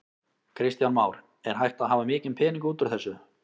Kristján Már: Er hægt að hafa mikinn pening út úr þessu?